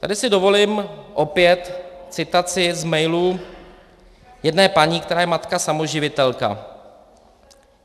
Tady si dovolím opět citaci z mailu jedné paní, která je matka samoživitelka.